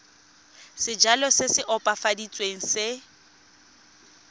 sejalo se se opafaditsweng se